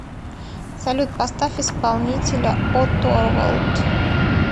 салют поставь исполнителя о торвалд